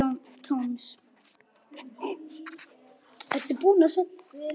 David Toms